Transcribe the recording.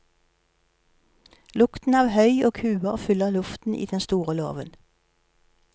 Lukten av høy og kuer fyller luften i den store låven.